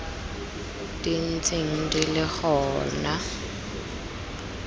di ntseng di le gona